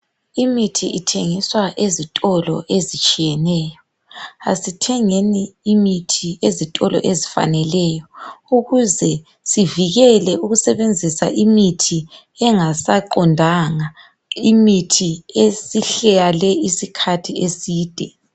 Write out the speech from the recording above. imithi ithengiswa ezitolo ezitshiyeneyo asithengeni imithi ezitolo ezifaneleyo ukuze sivikele ukusebenzisa imithi engaqondanga imithi esihlale isikhathi eside